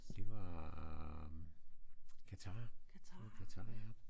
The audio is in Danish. Det var øh Qatar det var Qatar ja